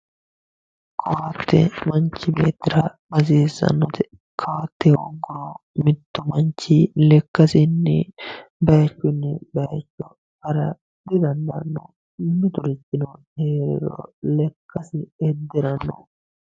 koatte manchi beettira hasiissannote koatte hoogguro mittu manchi lekkasinni bayiichunni bayiicho hara didandaanno miturichino heeriro lekkasi iddiranno.